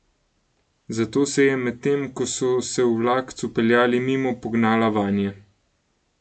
Zato se je, medtem, ko so se v vlakcu peljali mimo, pognala vanje.